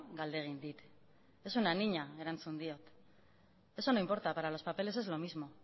galde egin dit es una niña erantzun diot eso no importa para los papeles es lo mismo